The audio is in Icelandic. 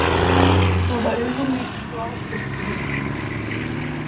Hvaða augum lítur þú ábyrgð þína?